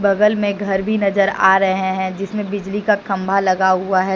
बगल में घर भी नजर आ रहे हैं जिसमें बिजली का खंभा लगा हुआ है।